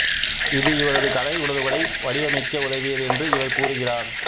இது இவரது கலை உணர்வுகளை வடிவமைக்க உதவியது என்று இவர் கூறுகிறார்